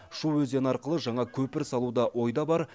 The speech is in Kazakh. шу өзені арқылы жаңа көпір салу да ойда бар